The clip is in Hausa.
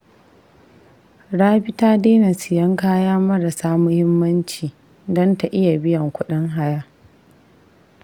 Rabi ta daina siyan kaya marasa muhimmanci don ta iya biyan kudin haya.